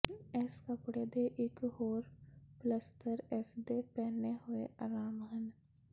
ਇਸ ਕੱਪੜੇ ਦੇ ਇਕ ਹੋਰ ਪਲੱਸਤਰ ਇਸਦੇ ਪਹਿਨੇ ਹੋਏ ਆਰਾਮ ਹਨ